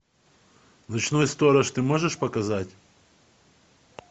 ночной сторож ты можешь показать